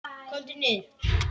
KOMDU NIÐUR!